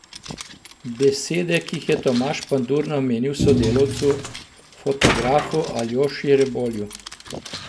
Besede, ki jih je Tomaž Pandur namenil sodelavcu, fotografu Aljoši Rebolju.